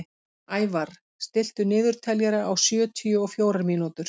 Ævarr, stilltu niðurteljara á sjötíu og fjórar mínútur.